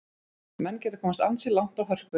Menn geta komist ansi langt á hörkunni.